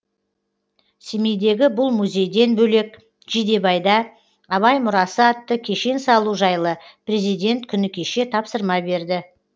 семейдегі бұл музейден бөлек жидебайда абай мұрасы атты кешен салу жайлы президент күні кеше тапсырма берді